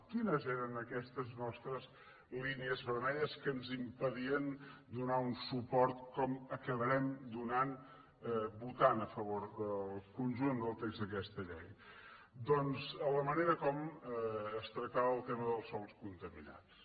quines eren aquestes nostres línies vermelles que ens impedien donar un suport com acabarem donant vo·tant a favor del conjunt del text d’aquesta llei doncs la manera com es tractava el tema dels sòls contami·nats